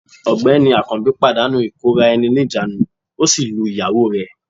Ọ̀gbẹ́ni akanbi pàdánù ìkóra-ẹni-níjàánu, ó sì lu ìyàwó rẹ̀